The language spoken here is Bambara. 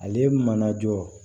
Ale mana jɔ